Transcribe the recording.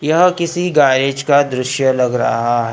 यह किसी गैरेज का दृश्य लग रहा--